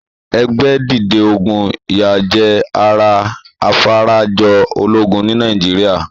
Ẹgbẹ́ dìde ogún yá jẹ́ ara afarajọ ológun ní Nàìjíríà.